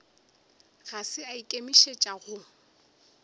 ga se a ikemišetša go